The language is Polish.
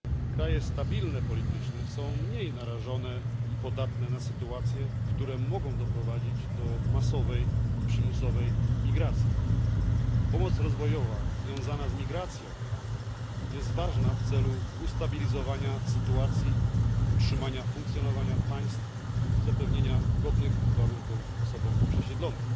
Kraje stabilne politycznie są mniej narażone i podatne na sytuacje, które mogą doprowadzić do masowej i przymusowej migracji. Pomoc rozwojowa związana z migracją jest ważna dla ustabilizowania sytuacji, utrzymania funkcjonowania państw i zapewnienia godnych warunków osobom przesiedlonym.